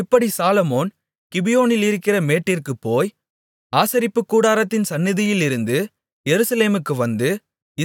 இப்படி சாலொமோன் கிபியோனிலிருக்கிற மேட்டிற்குப் போய் ஆசரிப்புக்கூடாரத்தின் சந்நிதியிலிருந்து எருசலேமுக்கு வந்து